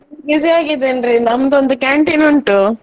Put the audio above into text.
Busy ಆಗಿದ್ದೇನೆ ರೀ ನಮ್ಮದೊಂದು canteen ಉಂಟು.